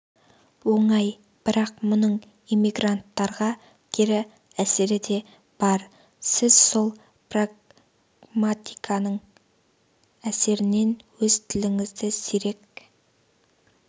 оңай бірақ мұның иммигранттарға кері әсері де бар сіз сол прагматиканың әсерінен өз тіліңізді сирек